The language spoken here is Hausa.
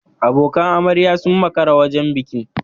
Abokan amarya sun makara wajen bikin.